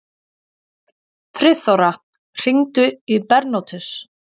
Friðþóra, hringdu í Bernótus.